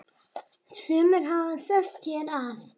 Sumir hafi sest hér að.